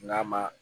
N'a ma